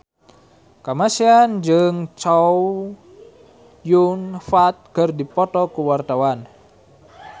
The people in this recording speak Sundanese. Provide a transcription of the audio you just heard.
Kamasean jeung Chow Yun Fat keur dipoto ku wartawan